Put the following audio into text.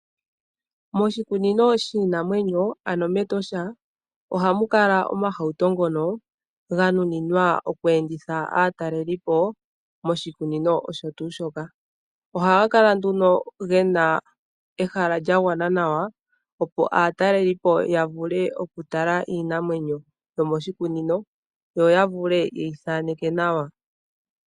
Moshikunino shiinamwenyo ano mEtosha ohamu kala iihauto mbyoka yanuninwa okweenditha aataleliipo moshikunino osho too shoka. Ohaga kala nduno gena ehala lyagwana nolya a ndjuka nawa opo aataleliipo ya vule okutala nawa iinamwenyo nenge ye yi thaaneke.